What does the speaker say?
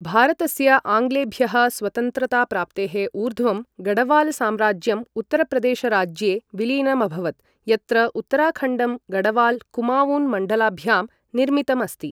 भारतस्य आङ्ग्लेभ्यः स्वतन्त्रताप्राप्तेः ऊर्ध्वं गढ़वालसाम्राज्यम् उत्तरप्रदेशराज्ये विलीनम् अभवत्, यत्र उत्तराखण्डं गढ़वाल कुमावून मण्डलभ्यां निर्मितम् अस्ति।